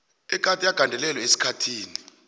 egade agandelelwe esikhathini